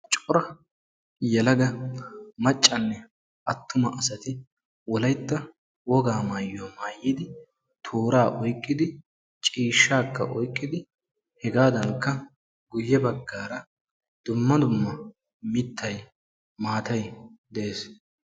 cora yelaga maccanne attuma asati wolayta woga maayuwa maayyid toora oyqqidi ciishshakka oyqqidi hegadankka guyye baggara dumma dumma mittay maatay de'ees.